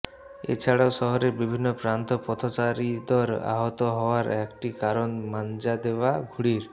এছাড়াও শহরের বিভিন্ন প্রান্ত পথচারীদর আহত হওয়ার একটি কারণ মাঞ্জা দেওয়া ঘুড়ির